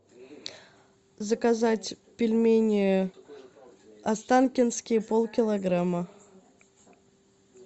заказать пельмени останкинские полкилограмма